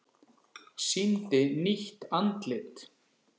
Sýndi nýtt andlit